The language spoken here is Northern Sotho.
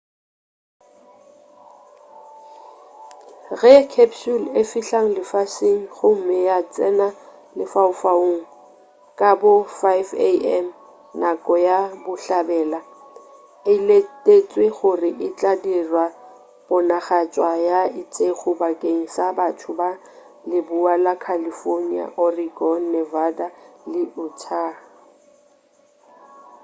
ge capsule e fihla lefaseng gomme ya tsena lefaufaung ka bo 5am nako ya bohlabela e letetšwe gore e tla dira ponagatšwa ye itšego bakeng sa batho ba leboa la california oregon nevada le utah